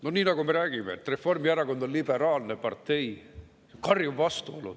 No nii nagu me räägime, et Reformierakond on liberaalne partei – karjuv vastuolu!